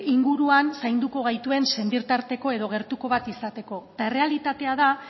inguruan zainduko gaituen senitarteko edo gertuko bat izateko eta errealitatea da